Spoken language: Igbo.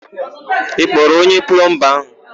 Ị kpọrọ onye plọmba áhụ̀?